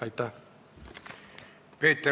Aitäh!